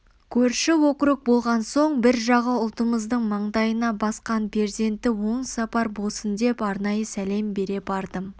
көрші округ болған соң бір жағы ұлтымыздың маңдайына басқан перзенті оң сапар болсын деп арнайы сәлем бере бардым